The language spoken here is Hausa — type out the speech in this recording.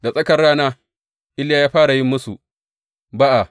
Da tsakar rana, Iliya ya fara yin musu ba’a.